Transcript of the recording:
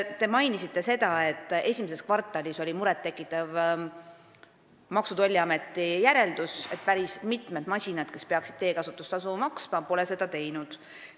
Te mainisite seda, et esimeses kvartalis tegi Maksu- ja Tolliamet murettekitava järelduse: päris mitmed masinad, mis peaksid teekasutustasu maksma, pole seda teinud.